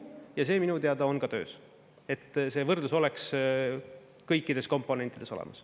Ja see minu teada on ka töös, et see võrdlus oleks kõikides komponentides olemas.